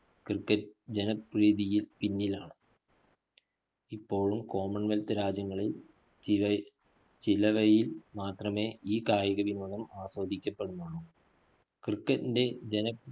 cricket ജനപ്രീതിയില്‍ പിന്നിലാണ്. ഇപ്പോഴും common wealth രാജ്യങ്ങളില്‍ ചില~ ചിലവയില്‍ മാത്രമേ ഈ കായിക വിനോദം ആസ്വദിക്കപ്പെടുന്നുള്ളൂ. cricket ന്റെ ജന